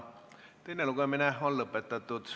Teine lugemine on lõpetatud.